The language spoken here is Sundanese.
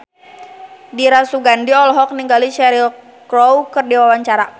Dira Sugandi olohok ningali Cheryl Crow keur diwawancara